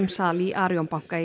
sal í Arion banka